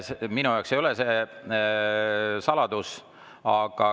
Minu jaoks ei ole see saladus.